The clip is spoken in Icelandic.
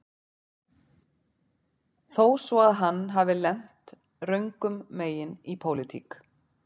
Þó svo að hann hafi lent röngum megin í pólitík